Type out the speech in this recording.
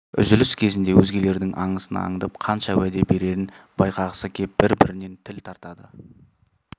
үзіліс кездерінде өзгелердің аңысын аңдып қанша уәде берерін байқағысы кеп бір-бірінен тіл тартады